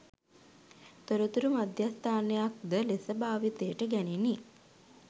තොරතුරු මධ්‍යස්ථානයක් ද ලෙස භාවිතයට ගැනිණි